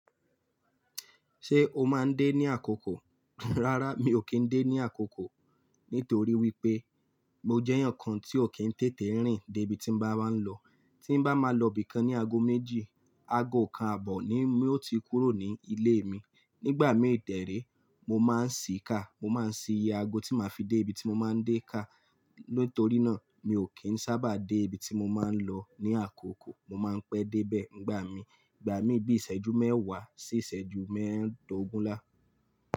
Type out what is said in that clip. Ṣé o máa ń dé ní àkókò? Rárá mi ò kí ń dé ní àkókò nítorí wípé mo jẹ́ ẹeyan kan tí ò kí ń tètè rìn dé ibi tí n bá máa ń lọ. Tí n bá máa lọ ibì kan ní ago méjì, ago kan àbọ̀ ni mi ó ti kúrò ní ilé mi. Nígbà mí derẹ, mo má ń ṣí ká, mo má ń ṣí iye ago tí màá fi dé ibi tí mo má ń dé ká. Nítorí náà, mi ò kí ń sábà dé ibi tí mo má ń lọ ní àkókò. Mo má ń pẹ́ dé bẹ̀ nígbà mí. Ìgbà mí bí iṣẹ́jú mẹ́wàá sí ìṣẹ́jú mẹ́ẹ̀dógúnlá.